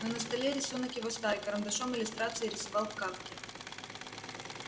но на столе рисунок его старый карандашом иллюстрации рисовал к кафке